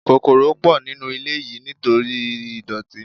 Kòkòrò pọ̀ nínú ilé yìí nítorí ìdọ̀tí.